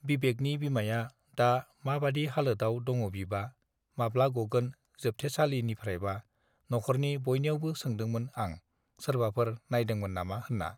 बिबेकनि बिमाया दा माबादि हालोदआव दङबिबा माब्ला गगोन जोबथेसालिनिफ्रायबा नखरनि बयनियावबो सोंदोंमोन आं सोरबाफोर नायदोंमोन नामा होनना